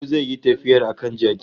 Ko zai yi tafiyar a kan jaki